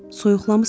Soyuqlamısan?